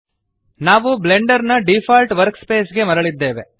ನಾವು ಬ್ಲೆಂಡರ್ ನ default workspace ಗೆ ಮರಳಿದ್ದೇವೆ